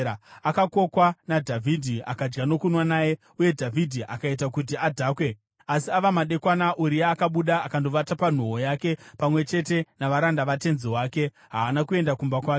Akakokwa naDhavhidhi, akadya nokunwa naye, uye Dhavhidhi akaita kuti adhakwe. Asi ava madekwana Uria akabuda akandovata panhoo yake pamwe chete navaranda vatenzi wake; haana kuenda kumba kwake.